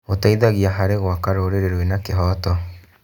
Gĩteithagia harĩ gwaka rũrĩrĩ rwĩna kĩhooto.